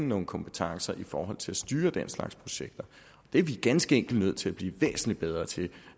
nogle kompetencer i forhold til at styre den slags projekter det er vi ganske enkelt nødt til at blive væsentlig bedre til